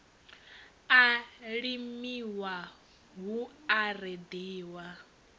a limiwa hu a reḓiwa